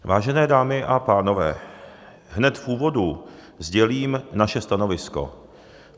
Vážené dámy a pánové, hned v úvodu sdělím naše stanovisko.